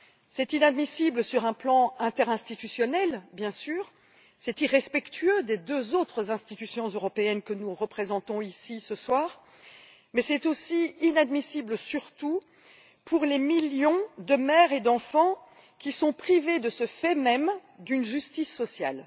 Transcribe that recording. C'est bien sûr inadmissible sur un plan interinstitutionnel et c'est irrespectueux des deux autres institutions européennes que nous représentons ici ce soir, mais c'est aussi inadmissible, surtout, pour les millions de mères et d'enfants qui sont ainsi privés d'une justice sociale.